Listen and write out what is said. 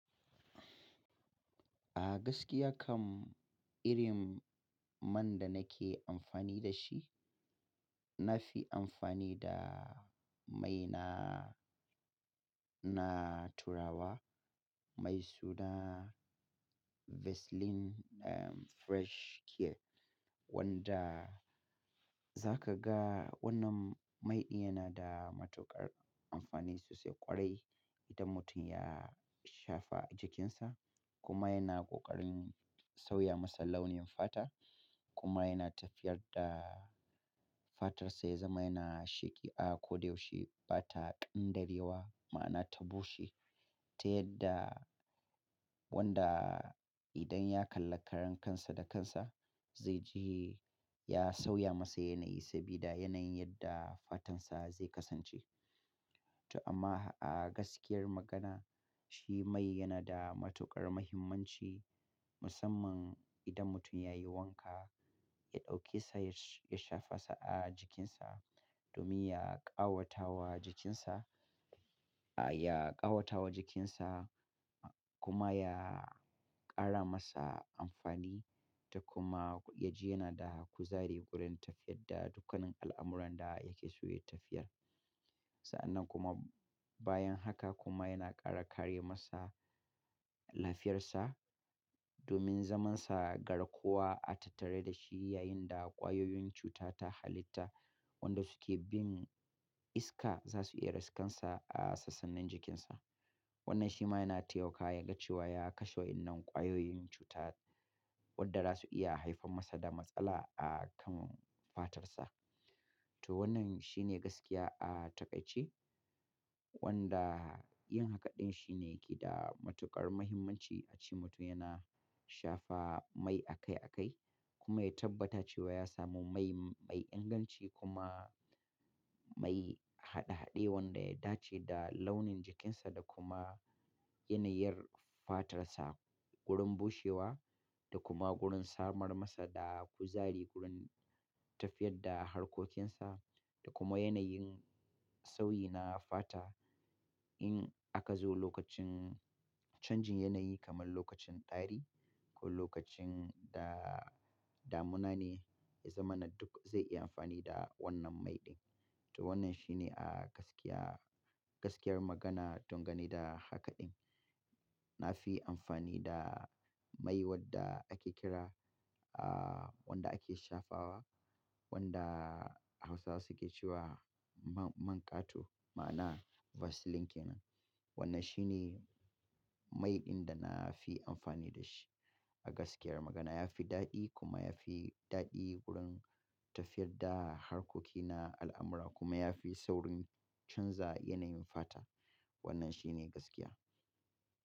A gaskiya kam irin man da nake amfani da shi, na fi amfani da mai na, na turawa mai suna Vaseline Fresh Care wanda za ka ga wannan mai din yana da matuƙar amfani sosai ƙwarai idan mutum ya shafa a jikinsa kuma yana ƙoƙarin sauya masa launin fata kuma yana tafiyar da fatarsa ya zama yana sheƙi. A ko da yaushe bata ƙin darewa ma'ana ta bushe ta yadda wanda idan ya kalla karan kansa da kansa zai ji ya sauya masa yanayi sabida yanayin yadda fatansa zai kasance. To amma a gaskiyar magana shi mai yana da matuƙar muhimmanci musamman idan mutum ya yi wanka, ya ɗauke sa ya shafa sa a jikinsa domin ya ƙawata wa jikinsa, ya ƙawata wa jikinsa kuma ya ƙara masa amfani da kuma ya ji yana da kuzari wurin tafiyar da dukkanin al'amuran da yake so ya yi tafiyar. Sa'annan kuma bayan haka kuma yana ƙara kare masa lafiyarsa domin zamansa garkuwa a tattare da shi yayin da ƙwayoyin cuta ta halitta wanda suke bin iska za su iya raskansa a sassanin jikinsa. Wannan shi ma yana taimakawa ya ga cewa ya kashe wa'inan ƙwayoyin cuta wanda za su iya haifar masa da matsala a kan fatarsa. To wannan shi ne gaskiya a taƙaice wanda yin hakaɗin shine ke da matuƙar muhimmanci a ce mutum yana shafa mai akai akai kuma ya tabbata cewa ya samu mai, mai inganci kuma mai haɗe haɗe wanda ya dace da launin jikinsa da kuma yanayin fatarsa wurin bushewa da kuma wurin samar masa da kuzari wurin tafiyar da harkokinsa da kuma yanayin sauyi na fata. In aka zo lokacin canjin yanayi kamar lokacin ɗari ko lokacin da damuna ne, ya zama na duk zai iya amfani da wannan mai din. To wannan shi ne a gaskiya, gaskiyar magana don gani da hakaɗin. Na fi amfani da mai wadda ake kira a wanda ake shafawa wanda Hausawa suke cewa manƙato ma'ana Vaseline kenan. Wannan shi ne mai din da na fi amfani da shi. A gaskiyar magana ya fi daɗi kuma ya fi daɗi wurin tafiyar da harkoki na al'amura kuma ya fi saurin canza yanayin fata. Wannan shi ne gaskiya.